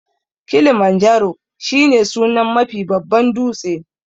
Kilimanjaro shi ne sunan Mafi babban dūtse